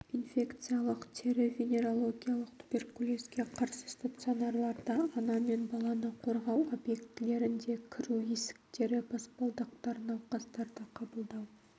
инфекциялық тері-венерологиялық туберкулезге қарсы стационарларда ана мен баланы қорғау объектілерінде кіру есіктері баспалдақтар науқастарды қабылдау